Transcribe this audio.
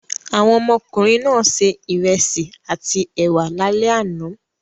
Àwọn ọmọkùnrin náà se ìrẹsì àti ẹ̀wà lálẹ́ àná.